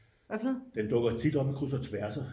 den dukker tit op i kryds og tværser